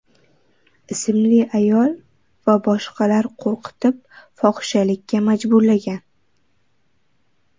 ismli ayol va boshqalar qo‘rqitib, fohishalikka majburlagan.